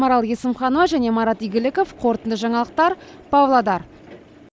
марал есімханова және марат игіліков қорытынды жаңалықтар павлодар